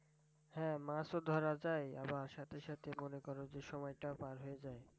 হ্যাঁ মাছ ও ধরা যায় আবার সাথে সাথে মনে করো যে সময়টাও পার হয়ে যায়।